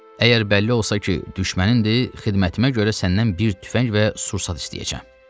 Əgər bəlli olsa ki, düşmənin-dir, xidmətimə görə səndən bir tüfəng və sursat istəyəcəm.